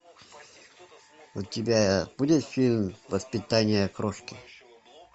у тебя будет фильм воспитание крошки